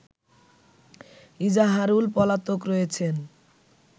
ইজাহারুল পলাতক রয়েছেন